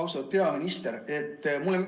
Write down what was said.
Austatud peaminister!